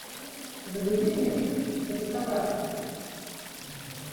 загрузи мне фильм реставратор